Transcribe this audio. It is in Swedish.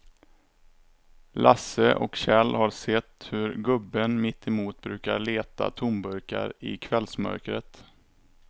Lasse och Kjell har sett hur gubben mittemot brukar leta tomburkar i kvällsmörkret.